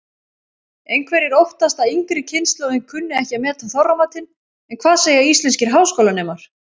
Einhverjir óttast að yngri kynslóðin kunni ekki að meta Þorramatinn en hvað segja íslenskir háskólanemar?